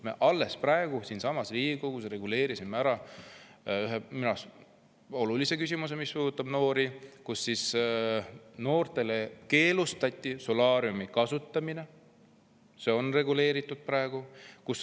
Me siinsamas Riigikogus alles reguleerisime ära minu arust olulise küsimuse, mis puudutab noori: noortel keelustati solaariumi kasutamine, see on praegu reguleeritud.